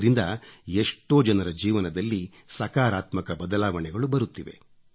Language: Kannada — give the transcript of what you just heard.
ಇದರಿಂದ ಎಷ್ಟೋ ಜನರ ಜೀವನದಲ್ಲಿ ಸಕಾರಾತ್ಮಕ ಬದಲಾವಣೆಗಳು ಬರುತ್ತಿವೆ